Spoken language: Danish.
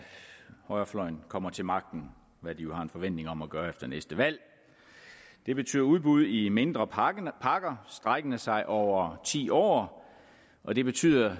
højrefløjen kommer til magten hvad de jo har en forventning om at gøre efter næste valg det betyder udbud i mindre pakker pakker strækkende sig over ti år og det betyder